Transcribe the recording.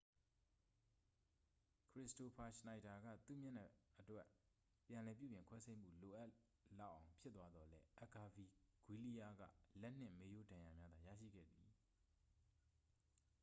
ခရစ္စတိုဖာ ရှနိုက်ဒါက သူ့မျက်နှာအတွက် ပြန်လည်ပြုပြင်ခွဲစိတ်မှု လိုအပ်လောက်အောင် ဖြစ်သွားသော်လည်း အက်ဂါဗီဂွီးလီးယားက လက်နှင့် မေးရိုးဒဏ်ရာများသာ ရရှိခဲ့သည်